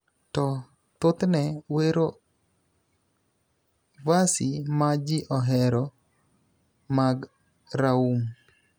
to thothne wero versi ma ji ohero mag raum